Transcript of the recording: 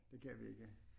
Det kan vi ikke